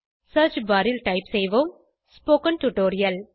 search bar ல் type செய்வோம் spoken tutorial